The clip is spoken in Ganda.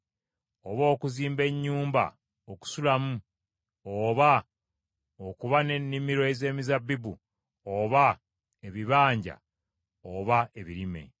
oba okuzimba ennyumba okusulamu oba okuba n’ennimiro ez’emizabbibu, oba ebibanja oba ebirime.